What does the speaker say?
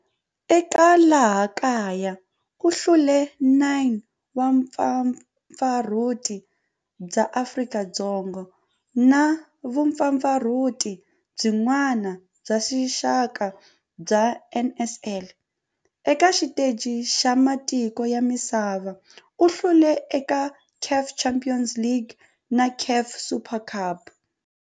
Eka laha kaya u hlule 9 wa vumpfampfarhuti bya Afrika-Dzonga na vumpfampfarhuti byin'we bya rixaka bya NSL. Eka xiteji xa matiko ya misava, u hlule eka CAF Champions League na CAF Super Cup.